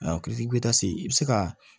i bɛ taa se i bɛ se ka